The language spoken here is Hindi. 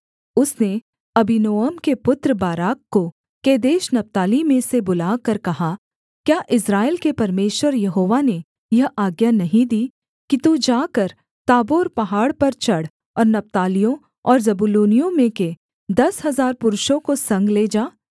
उसने अबीनोअम के पुत्र बाराक को केदेश नप्ताली में से बुलाकर कहा क्या इस्राएल के परमेश्वर यहोवा ने यह आज्ञा नहीं दी कि तू जाकर ताबोर पहाड़ पर चढ़ और नप्तालियों और जबूलूनियों में के दस हजार पुरुषों को संग ले जा